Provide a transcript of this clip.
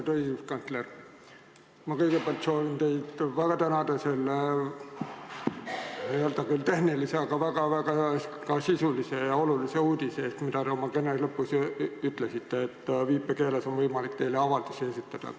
Austatud õiguskantsler, ma soovin teid kõigepealt väga tänada selle küll tehnilise, aga ka väga-väga sisulise ja olulise uudise eest, mida te oma kõne lõpus ütlesite, et teile on võimalik viipekeeles avaldusi esitada.